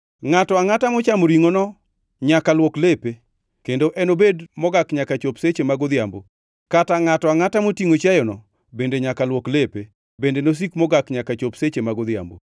Ngʼato angʼata mochamo ringʼono nyaka luok lepe, kendo enobed mogak nyaka chop seche mag odhiambo. Kata ngʼato angʼata motingʼo chiayono bende nyaka luok lepe, bende nosik mogak nyaka chop seche mag odhiambo.